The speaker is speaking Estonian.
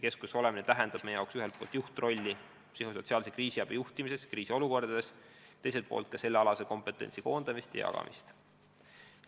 See tähendab meie jaoks ühelt poolt juhtrolli psühhosotsiaalse kriisiabi juhtimises kriisiolukordades, teiselt poolt ka sellealase kompetentsi koondamist ja jagamist.